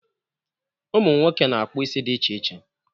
Ụmụnwoke na-akpụ isi di iche iche.